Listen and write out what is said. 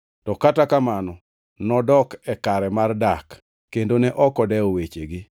To kata kamano nodok e kare mar dak, kendo ne ok odewo wechegi.